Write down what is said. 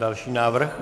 Další návrh.